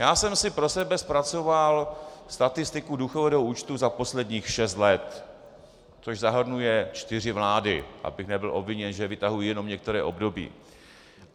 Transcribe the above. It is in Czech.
Já jsem si pro sebe zpracoval statistiku důchodového účtu za posledních šest let, což zahrnuje čtyři vlády, abych nebyl obviněn, že vytahuji jenom některé období.